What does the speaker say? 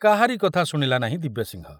କାହାରି କଥା ଶୁଣିଲା ନାହିଁ ଦିବ୍ୟସିଂହ।